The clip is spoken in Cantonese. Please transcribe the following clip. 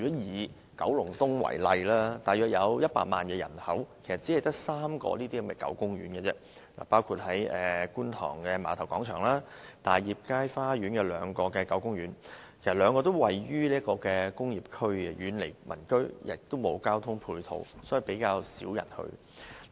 以九龍東為例，該區約有100萬人口，只有3個狗公園，包括觀塘的碼頭廣場，大業街花園有兩個狗公園，但該兩個公園位於工業區，遠離民居，沒有公共交通工具直達，比較少人前往。